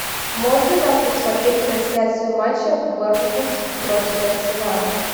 можно нам посмотреть трансляцию матча борнмут против арсенала